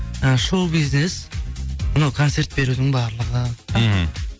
і шоу бизнес мынау концерт берудің барлығы мхм